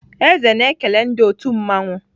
Eze na-ekele ndị otu mmanwụ.